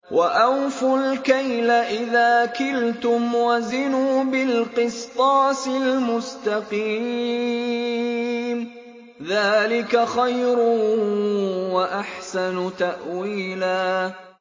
وَأَوْفُوا الْكَيْلَ إِذَا كِلْتُمْ وَزِنُوا بِالْقِسْطَاسِ الْمُسْتَقِيمِ ۚ ذَٰلِكَ خَيْرٌ وَأَحْسَنُ تَأْوِيلًا